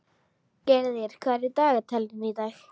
Gyrðir, hvað er í dagatalinu í dag?